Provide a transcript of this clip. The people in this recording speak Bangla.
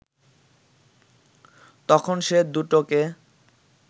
তখন সে দুটো কে